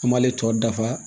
An m'ale tɔ dafa